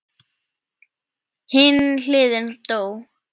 Hin hliðin dó.